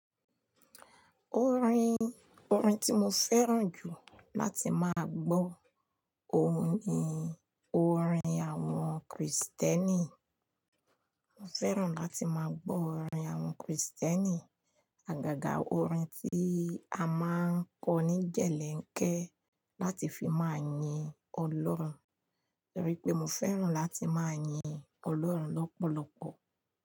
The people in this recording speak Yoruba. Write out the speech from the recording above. Orin, orin tí mo fẹ́ràn jù láti má gbọ́, òun ni orin àwọn Krìsìtẹ́nì. Mo fẹ́ràn láti má gbọ́ orin àwọn Krìsìtẹ́nì, àgàgà orin tí a máa ń kọ ní jẹ̀lẹ́ńkẹ́ láti fi máa yin Ọlọ́run. Nítorí pé mo fẹ́ràn láti máa yin Ọlọ́run lọ́pọ̀lọpọ̀